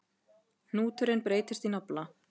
Hnúturinn breytist í nafla.